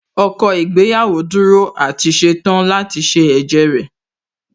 Ọkọ ìyàwó dúró àti ṣetán láti ṣe ẹ̀jẹ́ rẹ̀